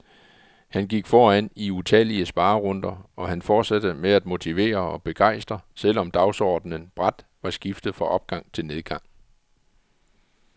Han gik foran i utallige sparerunder, og han fortsatte med at motivere og begejstre selvom dagsordenen brat var skiftet fra opgang til nedgang.